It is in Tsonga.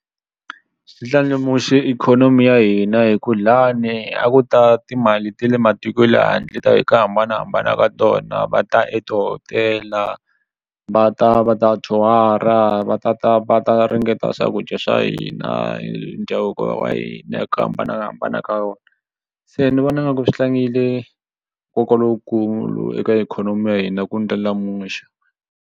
Xi ndlandlamuxe ikhonomi ya hina hi ku lani a ku ta timali ta le matiko ye le handle ta hi ku hambanahambana ka tona va ta etihotela va ta va ta tour-a va tata va ta ringeta swakudya swa hina ndhavuko wa hina hi ku hambanahambana ka wona se ni vona nga ku swi tlangile nkoka lowukulu eka ikhonomi ya hina ku ndlandlamuxa.